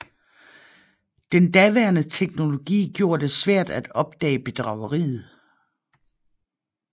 Den daværende teknologi gjorde det svært at opdage bedrageriet